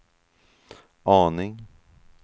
aning